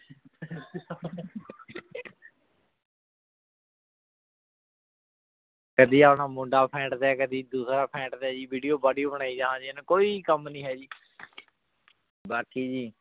ਕਦੀ ਆਪਣਾ ਮੁੰਡਾ ਫੈਂਟ ਦੇ ਜੀ ਕਦੀ ਡਾਸਰ ਫੈਂਟ ਦੇ ਜੀ video ਬਾਲੀ ਬਣਾਈ ਜਹਾਂ ਚ ਏਨੁ ਕੋਈ ਕਾਮ ਨਾਈ ਹੈ ਜੀ ਬਾਕੀ ਜੀ